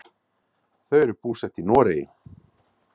Þau eru búsett í Noregi.